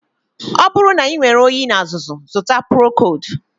Ọ bụrụ na inwere oyi na azụzụ, zụta Procold